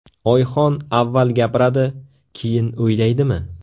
Oyxon avval gapiradi, keyin o‘ylaydimi?